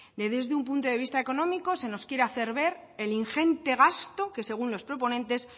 desde un punto de vista económico se nos quiere hacer ver el ingente gasto que según los proponentes